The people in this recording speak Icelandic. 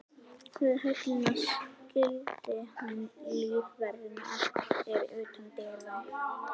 Við höllina skildi hann lífverðina eftir utan dyra.